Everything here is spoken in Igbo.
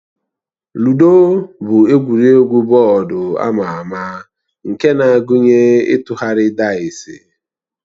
Lụdo bụ egwuregwu bọọdụ ama ama nke na-agụnye ịtụgharị daịsi